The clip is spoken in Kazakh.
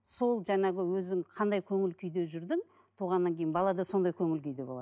сол жаңағы өзің қандай көңіл күйде жүрдің туғаннан кейін бала да сондай көңіл күйде болады